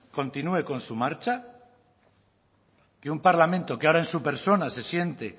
continúe con su marcha que un parlamento que ahora en su persona se siente